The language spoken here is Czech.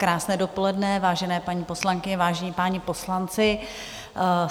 Krásné dopoledne, vážené paní poslankyně, vážení páni poslanci.